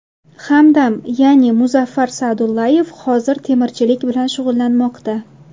Hamdam, ya’ni, Muzaffar Sa’dullayev hozir temirchilik bilan shug‘ullanmoqda.